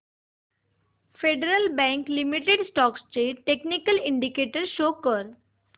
federal Bank Limited stocks चे technical indicators show कर